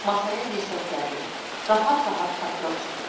Masaya dirsəklənir, rahat-rahat papiros çəkirdi.